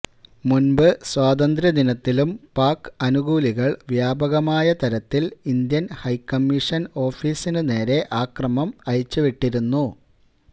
മുൻപ് സ്വാതന്ത്ര്യ ദിനത്തിലും പാക് അനുകൂലികൾ വ്യാപകമായ തരത്തിൽ ഇന്ത്യൻ ഹൈ കമ്മിഷൻ ഓഫിസിനു നേരെ അക്രമം അഴിച്ചു വിട്ടിരുന്നു